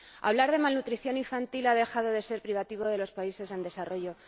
Hablar de malnutrición infantil ha dejado de ser privativo de los países en desarrollo.